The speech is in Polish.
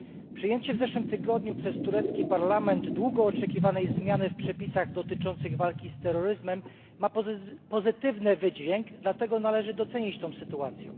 Przyjęcie w zeszłym tygodniu przez turecki parlament długo oczekiwanej zmiany w przepisach dotyczących walki z terroryzmem ma pozytywny wydźwięk, dlatego należy docenić tę sytuację.